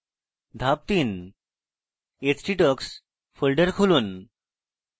ধাপ 3: htdocs folder খুলুন